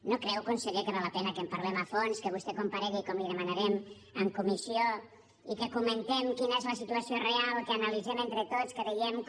no creu conseller que val la pena que en parlem a fons que vostè comparegui com li ho demanarem en comissió i que comentem quina és la situació real que ho analitzem entre tots que vegem com